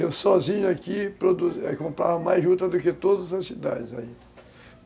Eu sozinho aqui comprava mais juta do que todas as cidades aí.